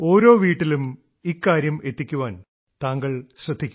ഓരോ വീട്ടിലും ഇക്കാര്യം എത്തിക്കാൻ താങ്കൾ ശ്രദ്ധിക്കൂ